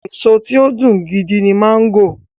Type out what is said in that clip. Èso tí ó dùn gidi ni máńgò.